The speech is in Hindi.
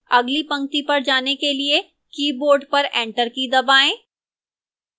अगली पंक्ति पर जाने के लिए keyboard पर enter की दबाएं